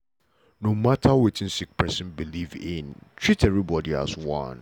no mata wetin sick pesin believe in treat everybody as one.